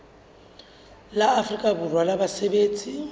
la afrika borwa la basebetsi